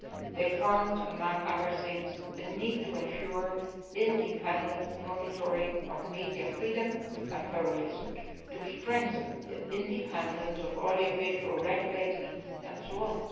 They found, among other things, a need to ensure independent monitoring of media freedom and pluralism and a need to strengthen the independence of audiovisual regulators etc.